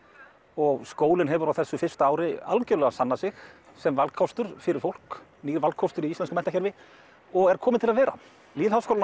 og skólinn hefur á þessu fyrsta ári algjörlega sannað sig sem valkostur fyrir fólk nýr valkostur í íslensku menntakerfi og er kominn til að vera lýðháskólinn á